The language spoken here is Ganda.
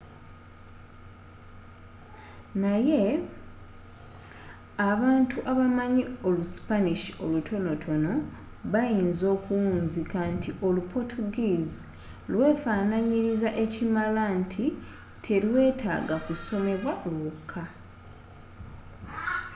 naye abantu abamanyi olu spanish olutonotono bayinzi okuwunzika nti olu portuguese lwefananyiriza ekimala nti telwetaaga kusomebwa lwokka